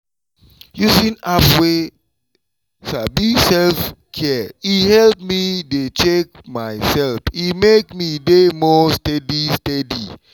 using app wey sabi self-care e help me dey check myself e make me dey more steady steady.